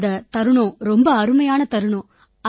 அது ரொம்ப அருமையான கணம்